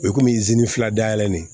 O ye komi fila dayɛlɛ ni